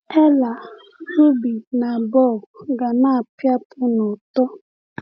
Ella, Ruby, na Bob ga na-apịapụ n’ụtọ.